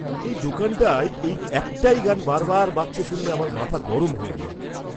এই দোকানটায় এই একটাই গান বারবার বাজছে শুনলে আমার মাথা গরম হয়ে যায়।